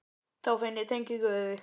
Þá finn ég tengingu við þig.